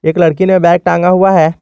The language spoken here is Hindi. एक लड़की ने बैग टांगा हुआ है।